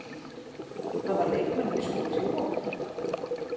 Hafa leikmenn misst trú á mér?